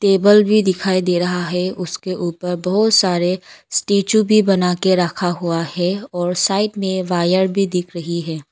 Table भी दिखाई दे रहा है उसके ऊपर बहुत सारे स्टैचू भी बना के रखा हुआ है और साइड में वायर भी दिख रही है।